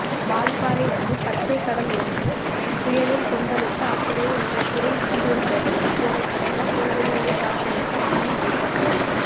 வால்பாறை வந்து பச்சைக்கடல் ஒன்ற் புயலில் கொந்தளித்து அப்படியே உறைந்திருந்தது போலக்கிடந்த புல்வெளிகளைப் பார்த்துவிட்டு ஆனைமலைக்கு வந்தோம்